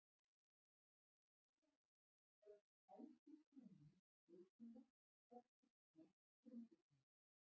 Í þriðja lagi þótti spænsku krúnunni nauðsynlegt að kristna frumbyggjana.